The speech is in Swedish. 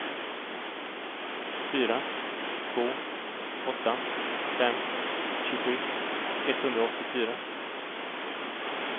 fyra två åtta fem tjugosju etthundraåttiofyra